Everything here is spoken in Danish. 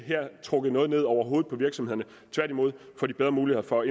trukket noget ned over hovedet på virksomhederne tværtimod får de bedre mulighed for at